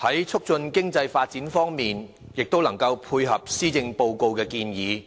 在促進經濟發展方面，亦能配合施政報告的建議，